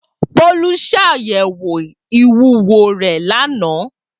Bolu ṣayẹwo iwuwo rẹ lana.